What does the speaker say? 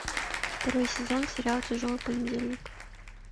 второй сезон сериала тяжелый понедельник